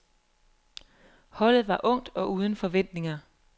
Holdet var ungt og uden forventninger